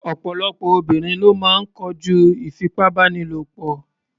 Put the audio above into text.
Ọ̀pọ̀lọpọ̀ obìnrin ló máa ń kojú ìfipábánilò.